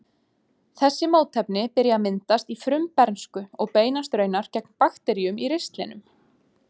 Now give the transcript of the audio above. Þessi mótefni byrja að myndast í frumbernsku og beinast raunar gegn bakteríum í ristlinum.